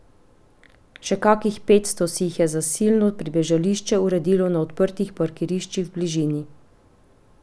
Še kakih petsto si jih je zasilno pribežališče uredilo na odprtih parkiriščih v bližini.